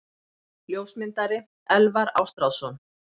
Ljósmyndari: Elvar Ástráðsson.